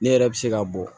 Ne yɛrɛ bɛ se ka bɔ